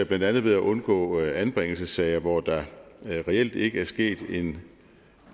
blandt andet ved at undgå anbringelsessager hvor der reelt ikke er sket en